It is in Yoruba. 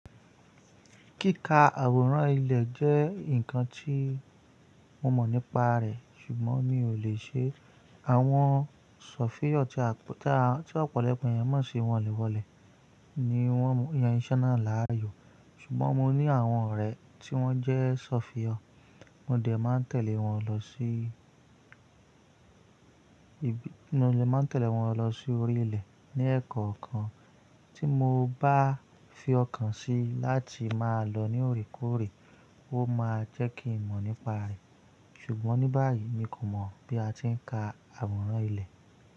Kíka àwòrán ilẹ̀ jẹ́ nǹkan tí mo mọ̀ nípa rẹ̀, ṣùgbọ́n mi ò lè ṣe. Àwọn sọ̀fíọ́ tí ọ̀pọ̀lọpọ̀ ènìyàn mọ̀ sí wọ́nlẹ̀ wọ́nlẹ̀ ni wọ́n yan iṣẹ́ náà láàyò. Ṣùgbọ́n mo ní àwọn ọ̀rẹ́ tí wọ́n jẹ́ sọ̀fíọ́, mo dẹ̀ ma ntele won lọ si máa tẹ̀lé wọn lọ sí orí ilẹ̀ ní ẹ̀kọ̀ọ̀kan tí mo bá fi ọkàn sí láti máa lọ ní ore koreé, ó máa jẹ́ kí ìmọ̀ nípa rẹ̀. Ṣùgbọ́n ní báyìí mi kò mọ̀ bí a ti ń ka àwòrán ilẹ̀